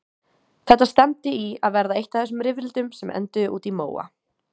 Þetta stefndi í að verða eitt af þessum rifrildum sem enduðu úti í móa.